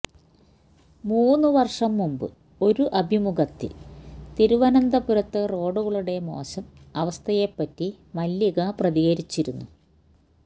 മൂന്നുവര്ഷം മുന്പ് ഒരു അഭിമുഖത്തില് തിരുവനന്തപുരത്തെ റോഡുകളുടെ മോശം അവസ്ഥയെപറ്റി മല്ലിക പ്രതികരിച്ചിരുന്നു